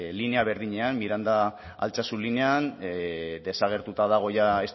linea berdinean miranda altsasu linean desagertuta dago jada